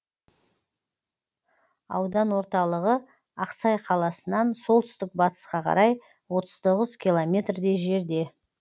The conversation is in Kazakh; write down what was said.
аудан орталығы ақсай қаласынан солтүстік батысқа қарай отыз тоғыз километрдей жерде